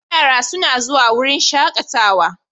Yara suna zuwa wurin shakatawa.